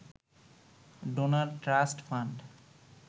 donor trust fund